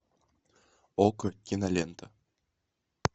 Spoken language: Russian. окко кинолента